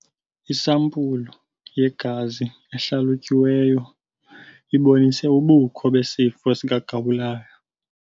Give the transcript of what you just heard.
Isampulu yegazi ehlalutyiweyo ibonise ubukho besifo sikagawulayo.